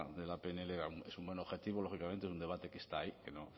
de la pnl es un buen objetivo lógicamente es un debate que está ahí que no